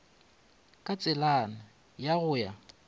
ka tselana ya go ya